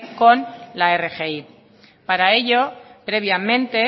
con la rgi para ello previamente